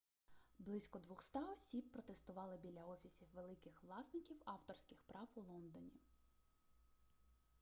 близько 200 осіб протестували біля офісів великих власників авторських прав у лондоні